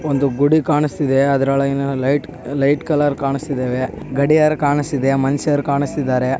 ಒಂದು ಗುಡಿ ಕಾಣಸ್ತಯಿದೆ. ಅದ್ರೊಳೊಗಿನ ಲೈಟ್ ಲೈಟ್ ಕಲರ್ ಕಾಣುಸ್ತಇದ್ದಾವೆ. ಗಡಿಯಾರ ಕಾಣಸ್ತಯಿದೆ. ಮನುಷ್ಯರು ಕಾಣಸ್ತಇದ್ದಾರೆ.